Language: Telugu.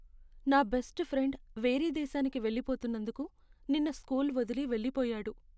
నా బెస్ట్ ఫ్రెండ్ వేరే దేశానికి వెళ్ళిపోతున్నందుకు నిన్న స్కూల్ వదిలి వెళ్లిపోయాడు.